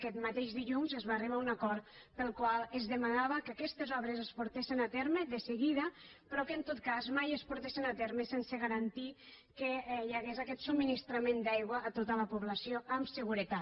aquest mateix dilluns es va arribar a un acord pel qual es demanava que aquestes obres es portessin a terme de seguida però que en tot cas mai es portessin a terme sense garantir que hi hagués aquest subministrament d’aigua a tota la població amb seguretat